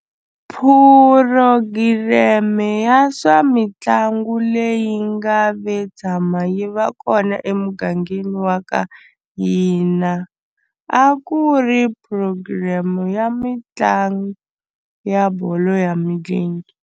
Purogireme ya swa mitlangu leyi nga ve tshama yi va kona emugangeni wa ka hina a ku ri program ya mitlangu ya bolo ya milenge.